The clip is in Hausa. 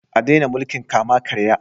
A daina mulkin kama-karya